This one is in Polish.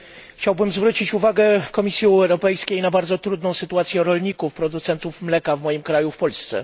Chciałbym zwrócić uwagę Komisji Europejskiej na bardzo trudną sytuację rolników producentów mleka w moim kraju, w Polsce.